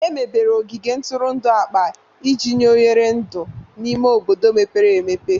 Emebere ogige ntụrụndụ akpa iji nye oghere ndụ n'ime obodo mepere emepe.